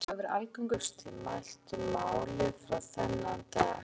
Myndin Grillir hefur verið algengust í mæltu máli fram á þennan dag.